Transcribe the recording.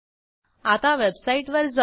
आता वेबसाईटवर जाऊ